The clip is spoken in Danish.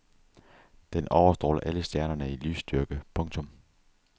Den overstråler alle stjernerne i lysstyrke. punktum